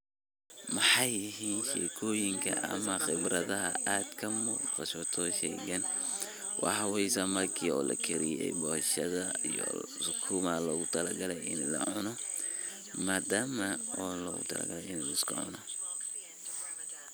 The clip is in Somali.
Maxay yahin sheekoyinga ama qeebratha aad ka kaso sheeygan waxaye samaki oo lagariyee bulshada iyo suuga lagu talaagalay ini la cuunoh madama oo lo rabah ini liska cuunoh.